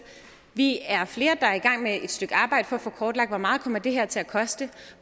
vi er flere der er i gang med et stykke arbejde for at få kortlagt hvor meget kommer det her til at koste